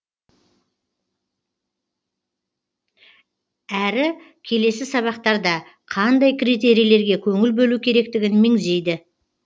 әрі келесі сабақтарда қандай критерийлерге көңіл бөлу керектігін меңзейді